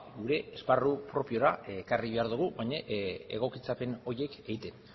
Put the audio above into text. gure esparru propiora ekarri behar dugu baina egokitzapen horiek egiten